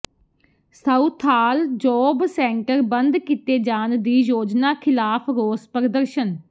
Southall job centre ਬੰਦ ਕੀਤੇ ਜਾਣ ਦੀ ਯੋਜਨਾ ਖਿਲਾਫ਼ ਰੋਸ ਪ੍ਰਦਰਸ਼ਨ